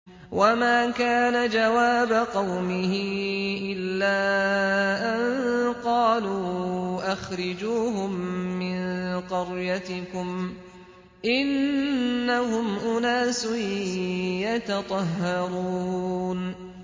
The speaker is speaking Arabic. وَمَا كَانَ جَوَابَ قَوْمِهِ إِلَّا أَن قَالُوا أَخْرِجُوهُم مِّن قَرْيَتِكُمْ ۖ إِنَّهُمْ أُنَاسٌ يَتَطَهَّرُونَ